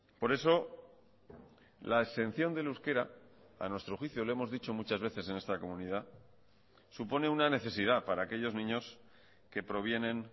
por eso la exención del euskera a nuestro juicio lo hemos dicho muchas veces en esta comunidad supone una necesidad para aquellos niños que provienen